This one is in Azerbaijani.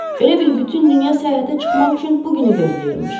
Elə bil bütün dünya səyahətə çıxmaq üçün bu günü gözləyirmiş.